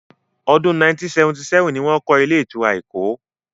Ọdún 1977 ni wọ́n kọ́ ilé-ìtura Èkó.